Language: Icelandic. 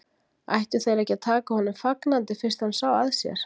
Ættu þeir ekki að taka honum fagnandi fyrst hann sá að sér?